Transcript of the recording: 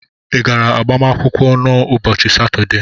ị gara agbamakwụkwọ na n'ụbọchị Satọde?